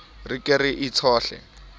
re ke re e tshohle